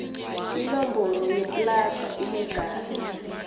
inomboro yeplada enegama